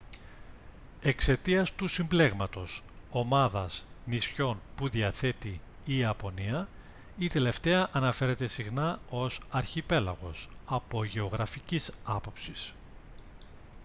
εξαιτίας του συμπλέγματος/ομάδας νησιών που διαθέτει η ιαπωνία η τελευταία αναφέρεται συχνά ως «αρχιπέλαγος» από γεωγραφικής άποψης